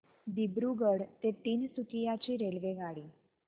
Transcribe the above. दिब्रुगढ ते तिनसुकिया ची रेल्वेगाडी